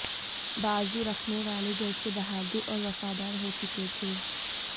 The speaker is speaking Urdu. باذو رکھنے والوں جیسے بہادر اور وفادار ہو چکے تھے